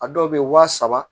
A dɔw bɛ yen waa saba